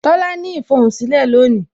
Tola ní ifohunsilẹ lónìí